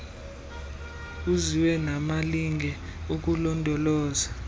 kuziwe namalinge okulondoloza